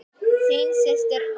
Þín systir Anna.